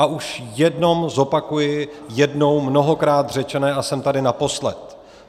A už jenom zopakuji jednou mnohokrát řečené a jsem tady naposled.